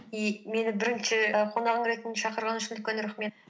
и мені бірінші і қонағың ретінде шақырғанын үшін үлкен рахмет